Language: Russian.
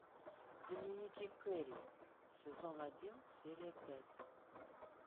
дневники кэрри сезон один серия пять